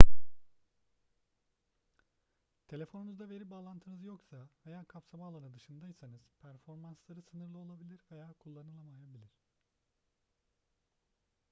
telefonunuzda veri bağlantınız yoksa veya kapsama alanı dışındaysanız performansları sınırlı olabilir veya kullanılamayabilir